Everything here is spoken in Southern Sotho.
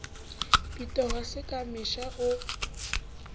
bitoha se ka mesha o